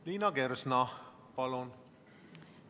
Liina Kersna, palun!